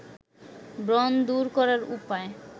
ব্রণ দূর করার উপায়